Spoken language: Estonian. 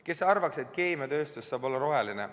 Kes võiks arvata, et keemiatööstus saab olla roheline.